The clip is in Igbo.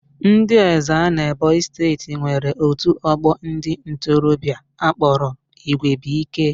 Ndị Ezza n'Ebonyi steeti nwere otu ọgbọ ndị ntorobịa akpọrọ Igwebuike